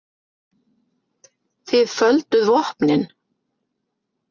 Þið földuð vopnin.